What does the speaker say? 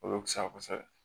O bɛ fisa kosɛbɛ